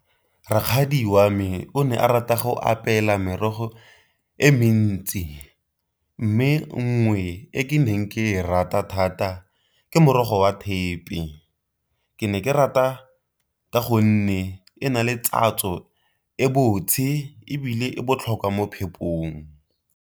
Rakgadi wa me o ne a rata go apeela merogo e mentsi mme nngwe e ke neng ke e rata thata ke morogo wa thepe, ke ne ke rata ka gonne e na le e botse ebile e botlhokwa mo phepong.